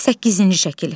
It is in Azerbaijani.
Səkkizinci şəkil.